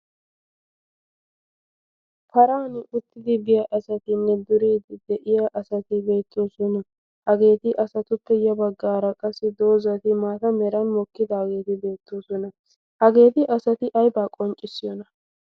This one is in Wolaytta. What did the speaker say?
paran uttidi biya asatinne duriidi de'iya asati beettoosona. hageeti asatuppe ya baggaara qassi doozati maata meran mokkidaageeti beettoosona. hageeti asati aybaa qonccissiyona?